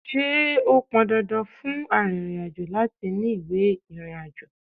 Ṣé ó pọn dandan fún arìnrìn-àjò láti ní ìwé ìrìnàjò?